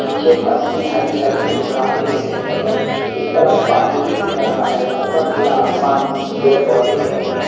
नीचे फर्श में हरी-हरी कुछ घांसे दिख रही हैं एक तरफ पानी भी दिख रहा है ऊपर नीला आसमान पेड़-पौधे दिख रहे हैं।